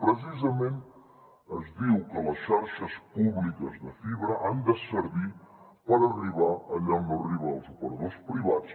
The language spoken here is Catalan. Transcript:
precisament es diu que les xarxes públiques de fibra han de servir per arribar allà on no arriben els operadors privats